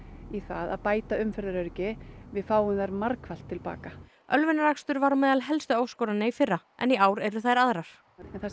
í það að bæta umferðaröryggi við fáum þær margfallt til baka ölvunarakstur var á meðal helstu áskorana í fyrra en í ár eru þær aðrar